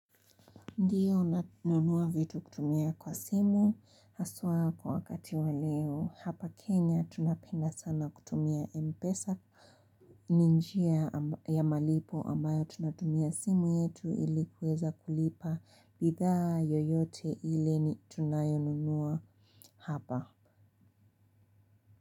Ndio nanunua vitu kutumia kwa simu haswa kwa wakati wa leo hapa Kenya tunapenda sana kutumia Mpesa. Ni njia ya malipo ambayo tunatumia simu yetu ili kuweza kulipa bidhaa yoyote ile tunayonunua hapa.